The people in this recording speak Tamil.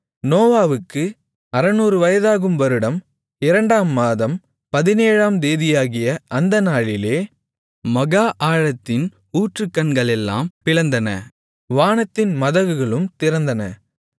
நோவாவுக்கு 600 வயதாகும் வருடம் இரண்டாம் மாதம் பதினேழாம் தேதியாகிய அந்த நாளிலே மகா ஆழத்தின் ஊற்றுக்கண்களெல்லாம் பிளந்தன வானத்தின் மதகுகளும் திறந்தன